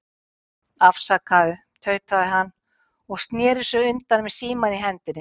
Afsakaðu, tautaði hann og sneri sér undan með símann í hendinni.